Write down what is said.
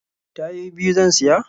Tayoyi biyu zan siya.